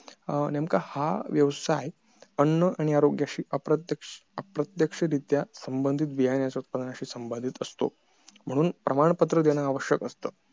अं नेमकं हा व्यवसाय अन्न आणि आरोग्याशी अप्रत्यक्षरीत्या संबंधित बियाण्याच्या संबन्धित असतो म्हणून प्रमाणपत्र देणं आवश्यक असत